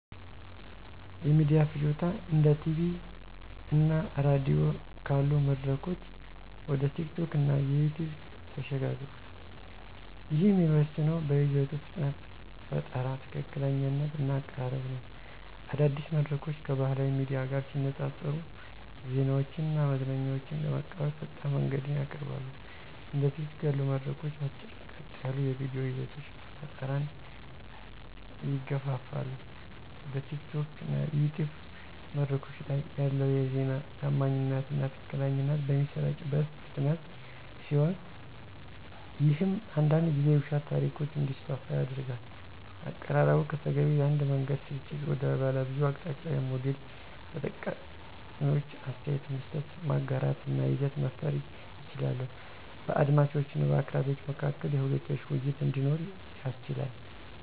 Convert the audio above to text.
የሚዲያ ፍጆታ እንደ ቲቪ እና ራዲዮ ካሉ መድረኮች ወደ ቲኪቶክ እና ዩቲዩብ ተሸጋግሯል፤ ይህም የሚወሰነው በይዘቱ ፍጥነት፣ ፈጠራ፣ ትክክለኛነት እና አቀራረብ ነው። አዳዲስ መድረኮች ከባህላዊ ሚዲያ ጋር ሲነፃፀሩ ዜናዎችን እና መዝናኛዎችን ለመቀበል ፈጣን መንገድን ያቀርባሉ። እንደ ቲኪቶክ ያሉ መድረኮች አጭር፣ ቀጥ ያሉ የቪዲዮ ይዘቶች ፈጠራን ይገፋፋሉ። በቲኪቶክ እና ዩቲዩብ መድረኮች ላይ ያለው የዜና ታማኝነት እና ትክክለኛነት በሚሰራጭበት ፍጥነት ሲሆን ይህም አንዳንድ ጊዜ የውሸት ታሪኮች እንዲስፋፉ ያደርጋል። አቀራረቡ ከተገቢው የአንድ መንገድ ስርጭት ወደ ባለብዙ አቅጣጫዊ ሞዴል ተጠቃሚዎች አስተያየት መስጠት፣ ማጋራት እና ይዘት መፍጠር ይችላሉ። በአድማጮች እና በአቅራቢው መካከል የሁለትዮሽ ውይይት እንዲኖር ያስችላል።